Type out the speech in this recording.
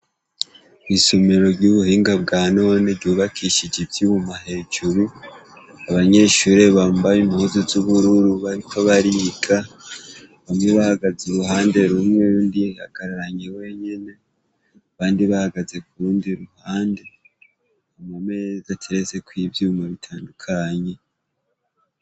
Kw'isumiro ry'ubuhinga bwa none ryubakishije ivyouma hejuru abanyeshurire bambaye impuzu z'ubwururu barito bariiga bamwe bahagaze i ruhande rumwe rundi hagararanye wenyene bandi bahagaze ku rundi ruhande amu mezi aterezeko'ivyouma re tandukanye.